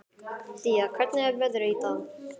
Día, hvernig er veðrið í dag?